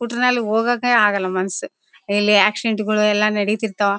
ಸ್ಕೂಟರ್ನಲ್ಲಿ ಹೋಗೋಕೆ ಆಗಲ್ಲ ಮನುಷ್ಯ ಇಲ್ಲಿ ಆಕ್ಸಿಡೆಂಟ್ಗಳು ಎಲ್ಲಾ ನಡಿತಿರ್ತಾವ.